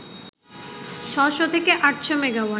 ৬০০ থেকে ৮০০ মেগাওয়াট